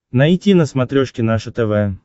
найти на смотрешке наше тв